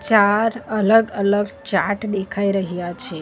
ચાર અલગ અલગ ચાર્ટ દેખાઈ રહ્યા છે.